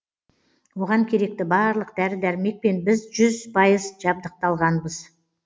оған керекті барлық дәрі дәрмекпен біз жүз пайыз жабдықталғанбыз